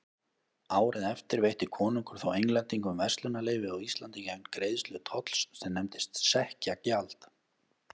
Árið eftir veitti konungur þó Englendingum verslunarleyfi á Íslandi gegn greiðslu tolls sem nefndist sekkjagjald.